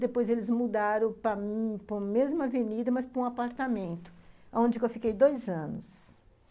Depois eles mudaram para a mesma avenida, mas para um apartamento, onde eu fiquei dois anos.